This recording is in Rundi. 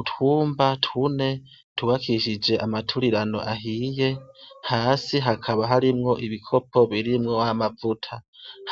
Utwumba tune, tubakishije amaturirano ahiye ,hasi hakaba harimwo ibikopo birimwo amavuta.